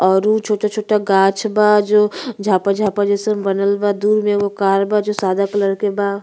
और उ छोटा-छोटा गांछ बा जो झाप-झाप जईसन बनल बा। दूर में एगो कार बा जो सादा क्लर के बा।